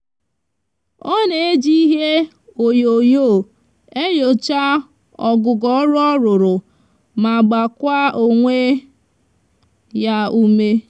o n'eji ihe onyonyo enyocha ogugo oru oruru ma gbakwa onwe ya ume